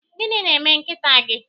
Gịnị na-eme nkịta gị?